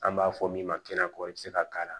An b'a fɔ min ma kɛnɛ ko i bɛ se ka k'a la